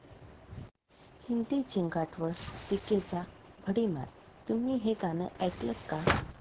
हिंदी 'झिंगाट'वर टीकेचा भडिमार!, तुम्ही हे गाणं ऐकलंत का?